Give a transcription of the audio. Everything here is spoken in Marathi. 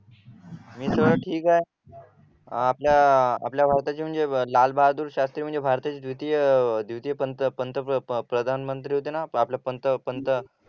मी सगळं ठीक आहे अह आपल्या आपल्या भारताचे म्हणजे लालबहादूर शास्त्री म्हणजे भारताचे द्वितीय द्वितीय पंत पंतप्रधान प्रधानमंत्री होते ना आपल्या पंत पंत